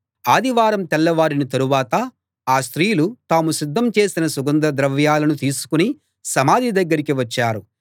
ఆదివారం తెల్లవారిన తరువాత ఆ స్త్రీలు తాము సిద్ధం చేసిన సుగంధ ద్రవ్యాలను తీసుకుని సమాధి దగ్గరికి వచ్చారు